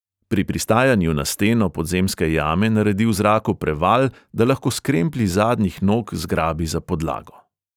Pri pristajanju na steno podzemske jame naredi v zraku preval, da lahko s kremplji zadnjih nog zgrabi za podlago.